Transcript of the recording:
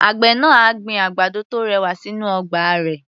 Àgbẹ̀ náà á gbin òdòdó tó rẹwà sínú ọgbà rẹ̀.